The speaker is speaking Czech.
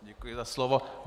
Děkuji za slovo.